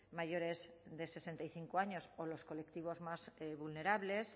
mayores de sesenta y cinco años o los colectivos más vulnerables